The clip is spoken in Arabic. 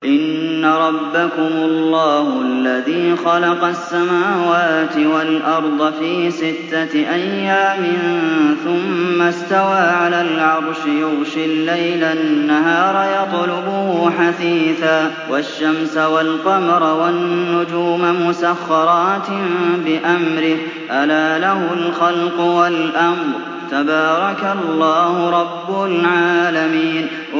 إِنَّ رَبَّكُمُ اللَّهُ الَّذِي خَلَقَ السَّمَاوَاتِ وَالْأَرْضَ فِي سِتَّةِ أَيَّامٍ ثُمَّ اسْتَوَىٰ عَلَى الْعَرْشِ يُغْشِي اللَّيْلَ النَّهَارَ يَطْلُبُهُ حَثِيثًا وَالشَّمْسَ وَالْقَمَرَ وَالنُّجُومَ مُسَخَّرَاتٍ بِأَمْرِهِ ۗ أَلَا لَهُ الْخَلْقُ وَالْأَمْرُ ۗ تَبَارَكَ اللَّهُ رَبُّ الْعَالَمِينَ